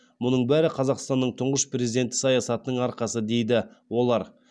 мұның бәрі қазақстанның тұңғыш президенті саясатының арқасы дейді олар